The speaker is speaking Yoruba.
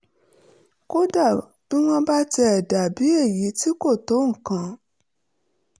kódà bí wọ́n bá tiẹ̀ dà bí èyí tí kò tó nǹkan